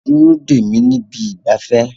Dúró dè mí ní ibi ìgbafẹ́